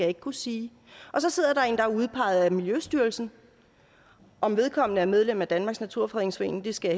ikke kunne sige og så sidder en er udpeget af miljøstyrelsen om vedkommende er medlem af danmarks naturfredningsforening skal